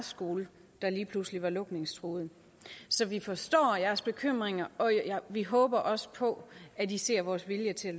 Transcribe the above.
skole der lige pludselig var lukningstruet så vi forstår jeres bekymringer og vi håber også på at i ser vores vilje til at